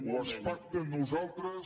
o es pacta amb nosaltres